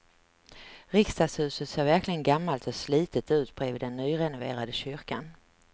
Riksdagshuset ser verkligen gammalt och slitet ut bredvid den nyrenoverade kyrkan.